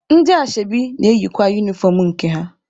Ndị ashebi na-eyikwa unifọm nke ha.